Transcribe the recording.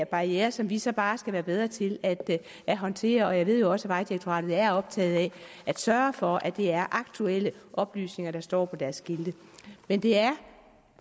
barriere som vi så bare skal blive bedre til at at håndtere jeg ved også at vejdirektoratet er optaget af at sørge for at det er aktuelle oplysninger der står på deres skilte men det er